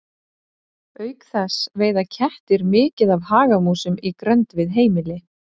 Auk þess veiða kettir mikið af hagamúsum í grennd við heimili.